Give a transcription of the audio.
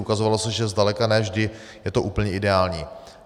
Ukazovalo se, že zdaleka ne vždy je to úplně ideální.